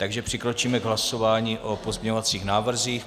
Takže přikročíme k hlasování o pozměňovacích návrzích.